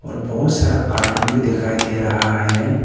और बहुत सारा कार्टून भी दिखाई दे रहा है।